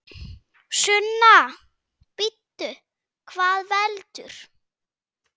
Sunna: Bíddu, hvað veldur?